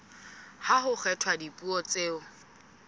ha ho kgethwa dipuo tseo